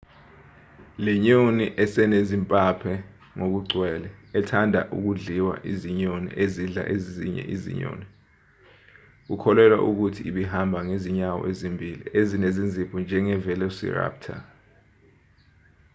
lenyoni esinezimpaphe ngokugcwele ethanda ukudliwa izinyoni ezidla ezinye kukholelwa ukuthi ibihamba ngezinyawo ezimbili ezinezinzipho njenge-velociraptor